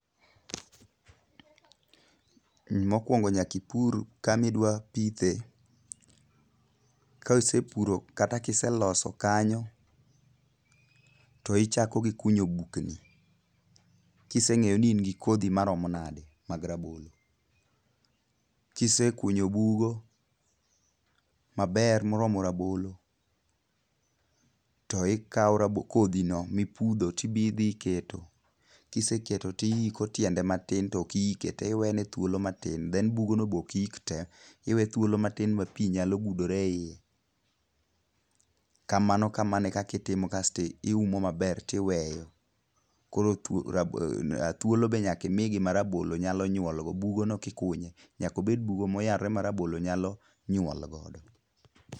Mokuongo nyaka ipur kama idwa pithe. Kaisepuro kata kiseloso kanyo, to ichako gi kunyo bukni. Kiseng'eyo ni in gi kodhi maromo nade mag rabolo. Kisekunyo bugo maber moromo rabolo, to ikao kodhi no mipudho tibi dhi keto. Kiseketo to iiko tiende matin, to ok iike te, iwene thuolo matin. Then bugo no be ok iik te. Iwe thuolo matin ma pi nyalo budore e iye. Kamano kamano e kaka itimo kasto iumo maber tiweyo. Koro thuolo be nyaka imigi ma rabolo nyalo nyuol go. Bugo no kikunye, nyaka obed bugo moyarore ma rabolo nyalo nyuol godo.